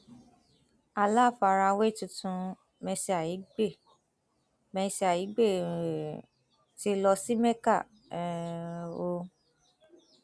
aláfarawá tuntun mercy aigbe mercy aigbe um ti lọ sí mecca um o